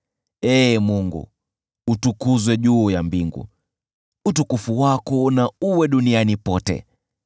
Ee Mungu, utukuzwe juu ya mbingu, utukufu wako na uenee duniani kote.